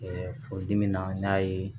furudimi na n y'a ye